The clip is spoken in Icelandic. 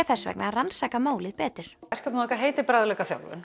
þess vegna rannsaka málið betur verkefnið okkar heitir